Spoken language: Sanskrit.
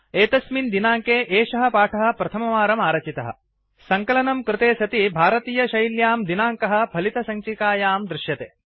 एतस्मिन् दिनाङ्के एषः पाठः प्रथमवारं आरचितः सङ्कलनं कृते सति भारतीय शेल्यां दिनाङ्कः फलितसञ्चिकायां दृश्यते